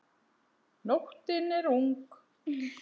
Nóttin er ung